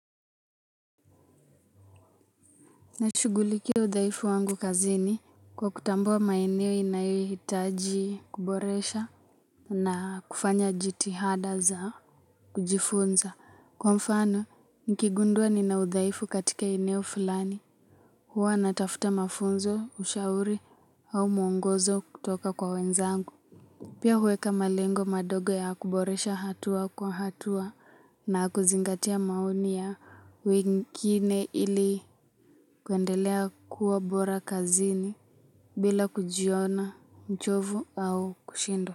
Nashughulikia udhaifu wangu kazini kwa kutambua maeneo inayohitaji kuboresha na kufanya jitihada za kujifunza. Kwa mfano, nikigundua nina udhaifu katika eneo fulani. Huwa natafuta mafunzo, ushauri au mwongozo kutoka kwa wenzangu. Pia huweka malengo madogo ya kuboresha hatua kwa hatua na kuzingatia maoni ya wengine ili kuendelea kuwa bora kazini bila kujiona mchovu au kushindwa.